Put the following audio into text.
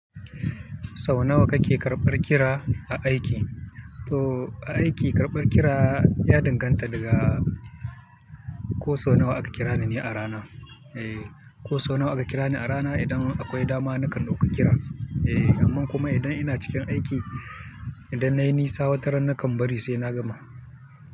Sau nawa kake karɓar kira a aiki? To aiki karɓar kira ya danganta daga ko sau nawa aka kirani ni a rana. Eh ko sau nawa aka kira ni a rana idan akwai dama nakan dauka kira. Eh amma kuma idan ina cikin aiki, idan na yi nisa wata ran nakan bari sai na gama.